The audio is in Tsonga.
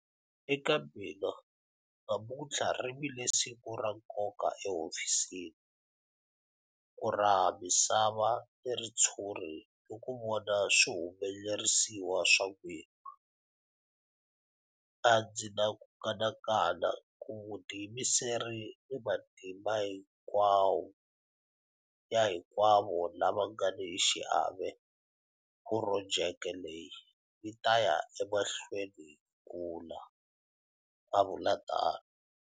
Eka mina, namuntlha ri vile siku ra nkoka ehofisini, ku raha misava ni ritshuri ni ku vona swihumelerisiwa swa n'wina. A ndzi ni ku kanakana hi vutiyimiseri ni matimba ya hinkwavo lava nga ni xiave, projeke leyi yi ta ya emahlweni yi kula, a vula tano.